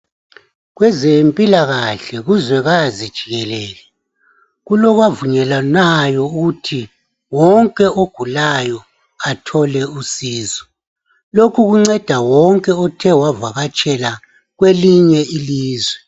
Kwezempilakahle kuzwekaze jikelele kulokwavunyelwanayo ukuthi wonke ogulayo athole usizo lokhu kunceda wonke othe wavakatshela kwelinye ilizwe.